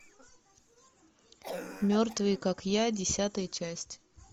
мертвые как я десятая часть